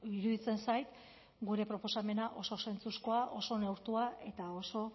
iruditzen zait gure proposamena oso zentzuzkoa oso neurtua eta oso